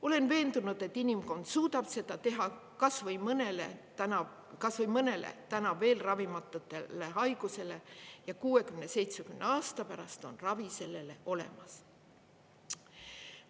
Olen veendunud, et inimkond suudab seda teha kas või mõnele täna veel ravimatule haigusele ja 60–70 aasta pärast on ravi sellele olemas.